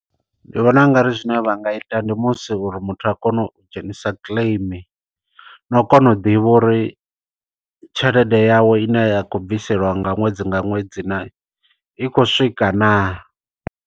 Ndi vhona ungari zwine vha nga ita, ndi musi uri muthu a kone u dzhenisa claim. No u kona u ḓivha uri, tshelede yawe ine ya kho bviseliwa nga ṅwedzi nga ṅwedzi naa, i khou swika naa.